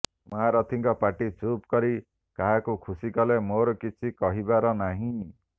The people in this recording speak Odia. ମହାରଥୀଙ୍କ ପାଟି ଚୁପ କରି କାହାକୁ ଖୁସି କଲେ ମୋର କିଛି କହିବାର ନାହିଁ